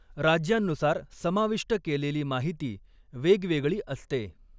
राज्यांनुसार समाविष्ट केलेली माहिती वेगवेगळी असते.